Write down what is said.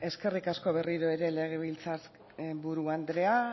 eskerrik asko berriro ere legebiltzar buru andrea